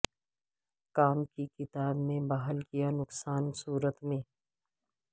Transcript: کام کی کتاب میں بحال کیا نقصان کی صورت میں